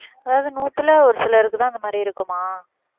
அதாவது நூத்துல ஒரு சிலருக்குதான் அந்த மாதிரி இருக்குமா